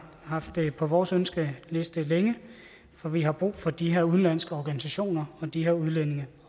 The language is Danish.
haft det på vores ønskeliste længe for vi har brug for de her udenlandske organisationer og de udlændinge